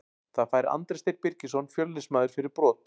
Það fær Andri Steinn Birgisson Fjölnismaður fyrir brot.